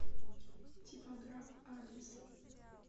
типограф адрес